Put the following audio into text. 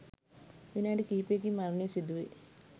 විනාඩි කිහිපයකින් මරණය සිදුවේ.